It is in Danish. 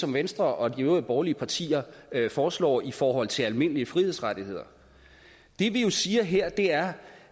som venstre og de øvrige borgerlige partier foreslår i forhold til almindelige frihedsrettigheder det vi jo siger her er